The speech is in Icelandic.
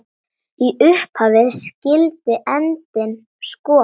Í upphafi skyldi endinn skoða.